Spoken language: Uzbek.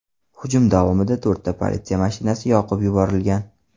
Hujum davomida to‘rtta politsiya mashinasi yoqib yuborilgan.